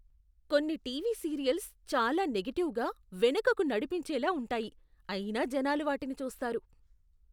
కొన్ని TV serials చాలా నెగటివ్గా, వెనుకకు నడిపించేలా ఉంటాయి, అయినా జనాలు వాటిని చూస్తారు.